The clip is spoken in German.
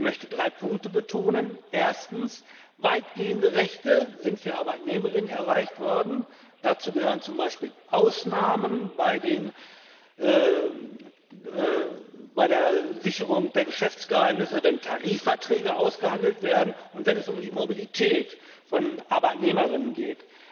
Ich möchte drei Punkte betonen Weitgehende Rechte sind für ArbeitnehmerInnen erreicht worden. Dazu gehören zum Beispiel Ausnahmen bei der Sicherung der Geschäftsgeheimnisse, wenn Tarifverträge ausgehandelt werden und wenn es um die Mobilität von ArbeitnehmerInnen geht.